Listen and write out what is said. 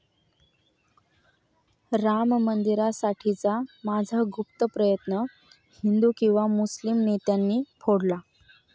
'राम मंदिरासाठीचा माझा गुप्त प्रयत्न हिंदू किंवा मुस्लिम नेत्यांनी फोडला'